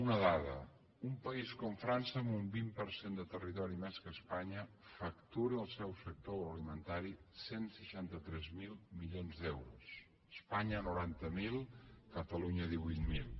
una dada un país com frança amb un vint per cent de territori més que espanya factura el seu sector agroalimentari cent i seixanta tres mil milions d’euros espanya noranta miler catalunya divuit mil